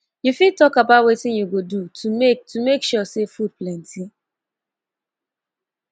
you fit talk about wetin you go do to make to make sure say food plenty